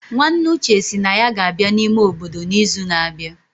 Nwanne Uche sị na ya ga-abịa n'ime obodo n'izu na-abịa